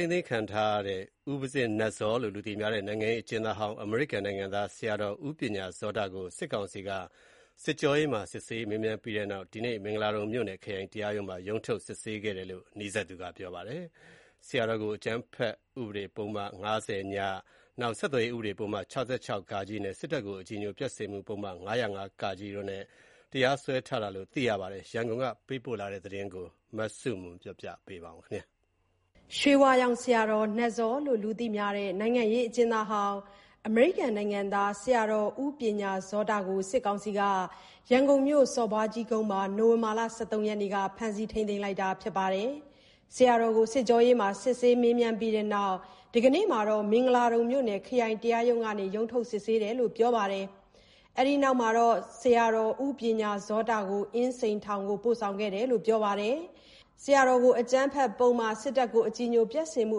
ိန်းသိမ်းခံထားရတဲ့ ဦးပဇင်းနတ်ဇောလို့ လူသိများတဲ့ နိုင်ငံရေးအကျဉ်းသားဟောင်း အမေရိကန်နိုင်ငံသား ဆရာတော် ဦးပညာဇောတကို စစ်ကောင်စီက စစ်ကြောရေးမှာ စစ်မေးပြီးတဲ့နောက် ဒီကနေ့ မင်္ဂလာဒုံမြို့နယ် ခရိုင်တရားရုံးမှာ ရုံးထုတ်စစ်ဆေးခဲ့တယ်လို့ နီးစပ်သူကပြောပါတယ်။ ဆရာတော် ဦးပညာဇောတကို အကြမ်းဖက်ဥပဒေ ပုဒ်မ ၅၀-ည၊ ဆက်သွယ်ရေးဥပဒေပုဒ်မ ၆၆-ဃ နဲ့ စစ်တပ်ကို အကြည်ညိုပျက်စေမှု ပုဒ်မ ၅၀၅-က တို့နဲ့ မင်္ဂလာဒုံ မြို့နယ်တရားရုံးနဲ့ ခရိုင်တရားရုံးတို့က တရားစွဲဆိုထားတယ်လို့ သိရပါတယ်။ ရန်ကုန်ကနေ သတင်းပေးပို့ထားပါတယ်။ ရွှေဝါရောင်ဆရာတော် နတ်ဇောလို့လူသိများတဲ့ နိုင်ငံရေးအကျဉ်းသားဟောင်း အမေရိကန်နိုင်ငံသား ဆရာတော်ဦးပညာဇောတကို စစ်ကောင်စီက ရန်ကုန်မြို့ စော်ဘွားကြီးကုန်းမှာ နိုဝင်ဘာလ (၁၃)ရက်နေ့က ဖမ်းဆီးထိန်းသိမ်းလိုက်တာပါ။ စစ်ကြောရေးမှာ စစ်ဆေးမေးမြန်းပြီးတဲ့နောက် ဒီကနေ့ မင်္ဂလာဒုံမြို့နယ် ခရိုင်တရားရုံးကနေ ရုံးထုတ်လာခဲ့တယ်လို့ ပြောပါတယ်။ ဒီနောက်မှာတော့ ဆရာတော်ဦးပညာဇောတကို အင်းစိန်တရားရုံးကိုပို့ဆောင်ခဲ့တယ်လို့ ပြောပါတယ်။ ဆရာတော်ကို အကြမ်းဖက်ပုဒ်မ၊ စစ်တပ်ကိုအကြည်ညိုပျက်စေမှု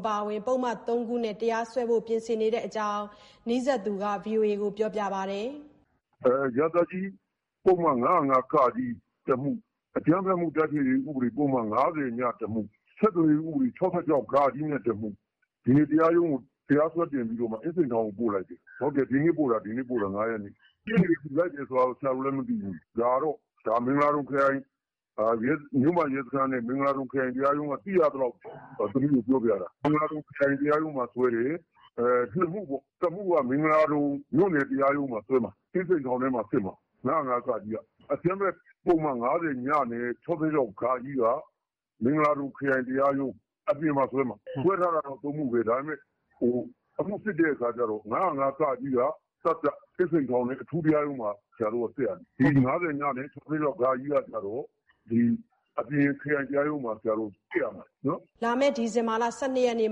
အပါအဝင် ပုဒ်မ ၃ခုနဲ့တရားစွဲဖို့ပြင်နေတဲ့အကြောင်း အဲဒီနီးစပ်သူက ဗွီအိုအေကို အခုလိုပြောပြပါတယ်။ "ရာဇသတ်ကြီး ပုဒ်မ ၅၀၅-ကနဲ့တမှု။ အကြမ်းဖက်ဥပဒေ ပုဒ်မ ၅၀-ည တမှု၊ ဆက်သွယ်ရေးဥပဒေပုဒ်မ ၆၆-ဃ နဲ့တမှု၊ ဒီနေ့တရားရုံးမှာတရားစွဲတင်ပို့ပြီး အင်းစိန်ထောင်ကိုပို့လိုက်တယ်။ ဒီနေ့ပို့တာ ၅ရက်နေ့၊ ရှေ့နေဘယ်သူလိုက်လဲဆိုတာဆရာတို့လည်းမသိဘူး။ ဒါကမင်္ဂလာဒုံခရိုင်မြို့မရဲစခန်းနဲ့ မင်္ဂလာဒုံခရိုင် တရားရုံးကနေသိရသလောက် ပြောပြတာ မင်္ဂလာဒုံခရိုင်တရားရုံးမှာစွဲတယ်။ ၂မှုကပေါ့ နောက်တမှုက မင်္ဂလာဒုံမြို့နယ်တရားရုံးမှာစွဲမယ် အင်းစိန်ထောင်ထဲ မှာ စစ်မယ် ၅၀၅-က ပေါ့ အကြမ်းဖက်ဥပဒေ ပုဒ်မ ၅၀-ညနဲ့ ဆက်သွယ်ရေးဥပဒေပုဒ်မ ၆၆-ဃကတော့ မင်္ဂလာဒုံခရိုင်တရားရုံး အပြင်မှာစွဲမှာ။ စွဲတာ ၃မှုဘဲ ဒါပေမယ့်အမှုစစ်တော့ ၅၀၅-က က အင်းစိန်ထောင်အထူးတရားရုံးမှာစစ်မယ် ကျန်၂မှုကတော့ခရိုင်တရားရုံးအပြင်မှာစစ်ရမယ်။" လာမယ့် ဒီဇင်ဘာ ၁၂ရက်နေ့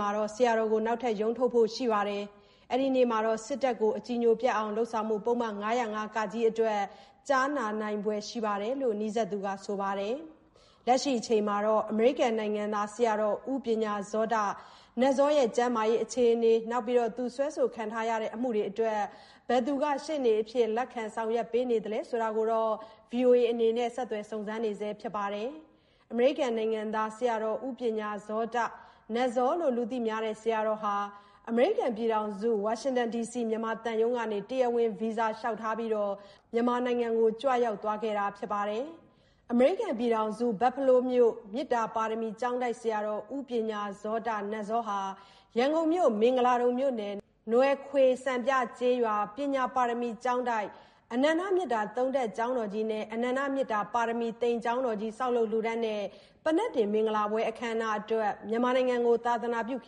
မှာ နောက်ထပ်ရုံးထုတ်ဖို့ရှိပြီး အဲနေ့မှာ စစ်တပ်ကိုအကြည်ညိုပျက်အောင် လုပ်ဆောင်မှု ပုဒ်မ ၅၀၅-က အတွက် ကြားနာနိုင်ဖွယ် ရှိတယ်လို့ အဲနီးစပ်သူကပြောပါတယ်။ လက်ရှိချိန်ထိတော့ အမေရိကန်နိုင်ငံသား ဆရာတော်ဦးပညာဇောတ (နတ်ဇော) ကျန်းမာရေးနဲ့သူ့အမှုတွေအတွက် ဘယ်သူက ရှေ့နေအဖြစ် လက်ခံဆောင်ရွက်ပေးနေလဲဆိုတာ ဗွီအို အေအနေနဲ့ ဆက်သွယ်စုံစမ်းနေဆဲဖြစ်ပါတယ်။ အမေရိကန်နိုင်ငံသား ဆရာတော်ဦးပညာဇောတ (နတ်ဇော)ဟာ အမေရိကန်ပြည်ထောင်စု ဝါရှင်တန်ဒီစီ မြန်မာသံရုံးကနေ တရားဝင် ဗီဇာလျှောက်ထားပြီး မြန်မာနိုင်ငံကိုကြွရောက်ခဲ့တာဖြစ်ပါတယ်။ အမေရိကန်ပြည်ထောင်စု ဘတ်ဖဲလိုးမြို့ မေတ္တာပါရမီကျောင်းတိုက်ဆရာတော် ဦးပညာဇောတ နတ်ဇောဟာ ရန်ကုန်မြို့ မင်္ဂလာဒုံမြို့နယ် နွယ်ခွေစံပြ ကျေးရွာပညာပါရမီကျောင်းတိုက် အနန္တမေတ္တာ (၃)ထပ် ကျောင်းတော်ကြီး နဲ့ အနန္တမေတ္တာပါရမီ သိမ်ကျောင်းတော်ကြီး ဆောက်လုပ်လှူဒါန်းတဲ့ ပန္နက်တင်မင်္ဂလာပွဲအခမ်းအနားအတွက် မြန်မာနိုင်ငံကို သာသနာပြုခ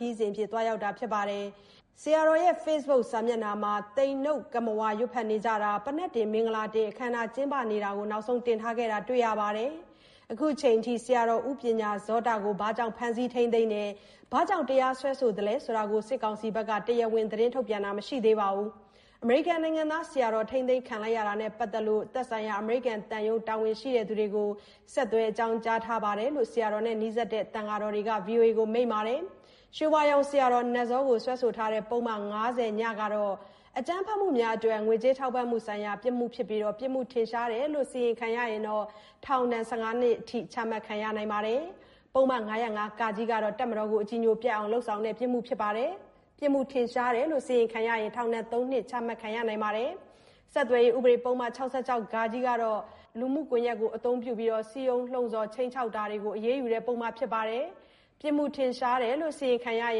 ရီးအဖြစ် သွားရောက်တာဖြစ်ပါတယ်။ ဆရာတော်ရဲ့ ဖေ့စ်ဘွတ်စာမျက်နှာမှာလည်း သိမ်နုတ်ကမ္မဝါရွတ်ဖတ်နေကြတာ ပန္နက်တင်မင်္ဂလာတင်အခမ်းအနားကျင်းပနေတာတွေကို နောက်ဆုံးတင်ထားတာကိုတွေ့ရပါတယ်။ အခုအချိန်အထိ ဆရာတော်ဦးပညာဇောတကို ဘာကြောင့်ဖမ်းဆီးထိန်းသိမ်းခဲ့တယ် ဘာကြောင့် တရားစွဲသလဲဆိုတာကို စစ်ကောင်စီဘက်က တရားဝင် သတင်းထုတ်ပြန်တာမရှိသေးပါဘူး။ အမေရိကန်နိုင်ငံသားဖြစ်တဲ့ ဆရာတော် ထိန်းသိမ်းခံခဲ့ရတာနဲ့ပတ်သက်လို့ သက်ဆိုင်ရာ အမေရိကန်သံရုံး တာဝန်ရှိသူတွေကို ဆက်သွယ်အကြောင်းကြားထားတယ်လို့လည်း ဆရာတော်နဲ့နီးစပ်တဲ့သံဃာတော်တွေက ဗွီအိုအေကိုမိန့်ပါတယ်။ ရွှေဝါရောင်ဆရာတော် နတ်ဇော ကိုစွဲဆိုထားတဲ့ ပုဒ်မ-၅၀-ညဟာ အကြမ်းဖက်မှုများအတွက် ငွေကြေးထောက်ပံ့မှုဆိုင်ရာပြစ်မှုဖြစ်ပြီး ပြစ်မှုထင်ရှားတယ်လို့စီရင်ခံရရင် ထောင်ဒဏ် ၁၅နှစ်ထိချမှတ်ခံရနိုင်ပါတယ်။ ပုဒ်မ ၅၀၅-က ကတော့ တပ်မတော်အကြည်ညိုပျက်အောင်လုပ်တဲ့ ပြစ်မှုဖြစ်ပြီး ပြစ်မှုထင်ရှားတယ်လို့စီရင်ခံရရင် ထောင်ဒဏ် ၃နှစ်ထိချမှတ်ခံရနိုင်ပါတယ်။ ဆက်သွယ်ရေးဥပဒေပုဒ်မ ၆၆-ဃကတော့ ကွန်ယက်အသုံးပြု စည်းရုံးလှုံဆော်တာ၊ ခြိမ်းခြောက်တာစတာတွေကိုအရေးယူတဲ့ ပုဒ်မဖြစ်ပြီး ပြစ်မှုထင်ရှားတယ်လို့စီရင်ခံရရ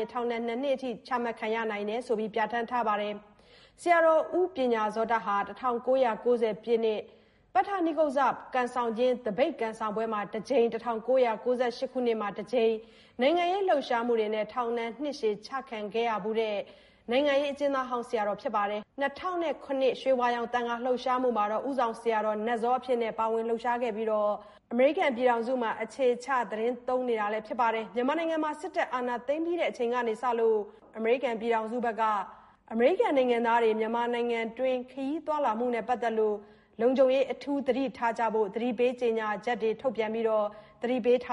င် ထောင်ဒဏ် ၂နှစ် ထိချမှတ်ခံရနိုင်တယ်လို့ ပြဌာန်းထားပါတယ်။ ဆရာတော် ဦးပညာဇောဟာ ၁၉၉ဝ ပတ္ထနိက္ကုဇ္ဇနကံဆောင်ခြင်း သပိတ်ကံဆောင်ပွဲမှာတစ်ကြိမ်၊ ၁၉၉၈ခုနှစ်မှာ တစ်ကြိမ် နိုင်ငံရေးလှုပ်ရှားမှုနဲ့ ထောင်ဒဏ်နှစ်ရှည် ၂ ကြိမ် ချခံခဲ့ရဖူးတဲ့ နိုင်ငံရေးအကျဉ်းသားဟောင်းတယောက်ဖြစ်ပါတယ်။ ၂ဝဝ၇ ရွှေဝါရောင် သံဃာ့လှုပ်ရှားမှုမှာ ဦးဆောင်ဆရာတော်နတ်ဇောအဖြစ် ပါဝင်လှုပ်ရှားခဲ့ပြီးတဲ့နောက် အမေရိကန်ပြည်ထောင်စုမှာ အခြေချသီတင်းသုံးနေတာလည်းဖြစ်ပါတယ်။ မြန်မာနိုင်ငံမှာ စစ်တပ်အာဏာသိမ်းပြီးချိန်ကာလကစလို့ အမေရိကန်ပြည်ထောင်စုဘက်က အမေရိကန်နိုင်ငံသားတွေ မြန်မာနိုင်ငံတွင်း ခရီးသွားလာမှုနဲ့ပတ်သက်လို့ လုံခြုံရေးအထူးသတိပေးကြေညာချက်တွေထုတ်ပြန်ပြီး သတိပေးထား